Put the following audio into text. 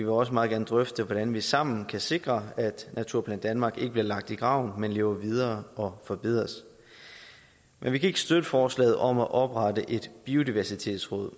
også meget gerne drøfte hvordan vi sammen kan sikre at naturplan danmark ikke bliver lagt i graven men lever videre og forbedres men vi kan ikke støtte forslaget om at oprette et biodiversitetsråd